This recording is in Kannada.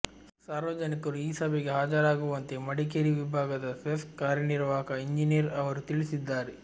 ಸಾರ್ವಜನಿಕರು ಈ ಸಭೆಗೆ ಹಾಜರಾಗುವಂತೆ ಮಡಿಕೇರಿ ವಿಭಾಗದ ಸೆಸ್ಕ್ ಕಾರ್ಯನಿರ್ವಾಹಕ ಎಂಜಿನಿಯರ್ ಅವರು ತಿಳಿಸಿದ್ದಾರೆ